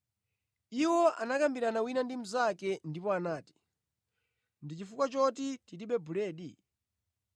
Iwo anakambirana wina ndi mnzake ndipo anati, “Ndi chifukwa choti tilibe buledi.”